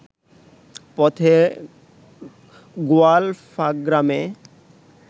পথে গোয়ালফাগ্রামে